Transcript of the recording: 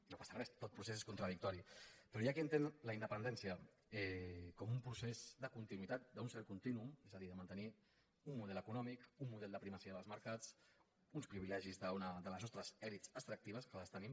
no passa res tot procés és contradictori però hi ha qui entén la independència com un procés de continuïtat d’un cert contínuum és a dir de mantenir un model econòmic un model de primacia dels mercats uns privilegis de les nostres elits extractives que les tenim